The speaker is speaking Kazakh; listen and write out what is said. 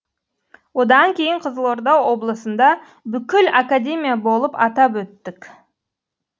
одан кейін қызылорда облысында бүкіл академия болып атап өттік